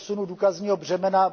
přesunu důkazního břemene.